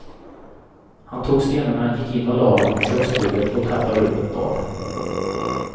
Han tog stenarna, gick in och lade dem på köksbordet och tappade upp ett bad.